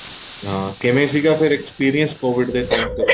ਕਿਵੇਂ ਸੀਗਾ experience covid ਦੇ time ਦਾ